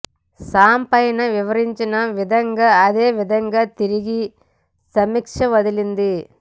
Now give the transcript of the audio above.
Sam పైన వివరించిన విధంగా అదే విధంగా తిరిగి ఒక సమీక్ష వదిలి